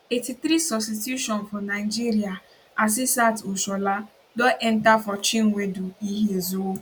83 substitution for nigeria asisat oshola don enta for chinwendu ihezuo